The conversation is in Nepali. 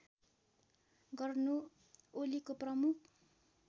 गर्नु ओलीको प्रमुख